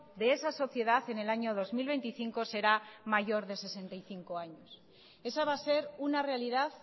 de esa sociedad en el año dos mil veinticinco será mayor de sesenta y cinco años esa va a ser una realidad